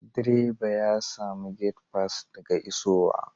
Direba ya samu gate fass daga isowa.